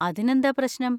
അതിനെന്താ പ്രശ്നം?